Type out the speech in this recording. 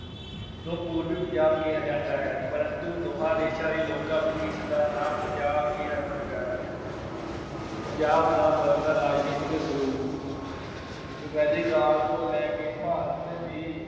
ਨੂੰ ਪੂਰਬੀ ਪੰਜਾਬ ਕਿਹਾ ਜਾਂਦਾ ਹੈ ਪਰੰਤੂ ਦੋਹਾਂ ਪ੍ਰਦੇਸ਼ਾਂ ਵਿੱਚ ਇਸ ਦਾ ਨਾਂ ਪੰਜਾਬ ਹੀ ਹਰਮਨ ਪਿਆਰਾ ਹੈ। ਪੰਜਾਬ ਦਾ ਬਦਲਦਾ ਰਾਜਨੀਤਿਕ ਸਰੂਪ ਰਿਗਵੇਦਿਕ ਕਾਲ ਤੋਂ ਲੈ ਕੇ ਭਾਰਤ ਦੀ